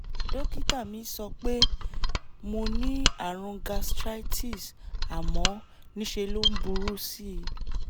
dókítà mi sọ pé mo pé mo ní àrùn gastritus àmọ́ ńṣe ló ń burú sí i